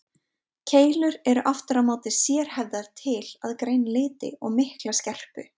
Keilur eru aftur á móti sérhæfðar til að greina liti og mikla skerpu.